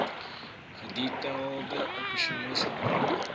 gedetailleerde operasionele planne